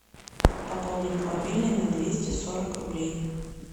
пополнить мобильный на двести сорок рублей